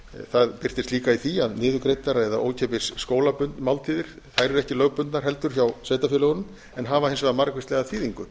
það birtist líka í því að niðurgreiddar eða ókeypis skólamáltíðir eru ekki lögbundnar heldur hjá sveitarfélögunum en hafa hins vegar margvíslega þýðingu